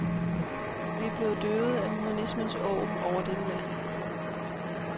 Vi er blevet døvet af humanismens åg over dette land.